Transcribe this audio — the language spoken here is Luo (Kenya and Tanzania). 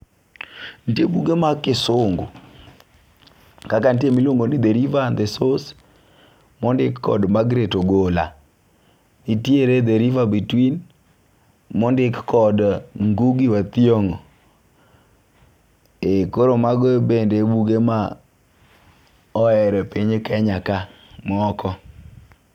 Nitie buge mag kisungu kaka ntie miluongo ni the river and the source mondik kod margaret ogola ntiere the river between mondik kod ngugi wa thiongo koro mago bende e buge ma oher e piny kenya ka moko